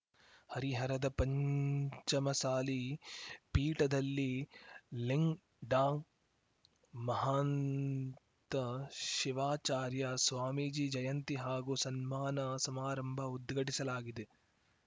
ಹರಿಹರದ ಪಂಚಮಸಾಲಿ ಪೀಠದಲ್ಲಿ ಲಿಂ ಡಾಮಹಾಂತ ಶಿವಾಚಾರ್ಯ ಸ್ವಾಮೀಜಿ ಜಯಂತಿ ಹಾಗೂ ಸನ್ಮಾನ ಸಮಾರಂಭ ಉದ್ಘಾಟಿಸಲಾಗಿದೆ